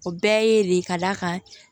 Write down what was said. O bɛɛ ye le ka d'a kan